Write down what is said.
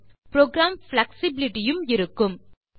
மேலும் program flexibility யும் இருக்கும்